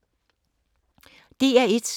DR1